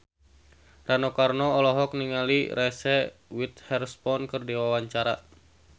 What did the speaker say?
Rano Karno olohok ningali Reese Witherspoon keur diwawancara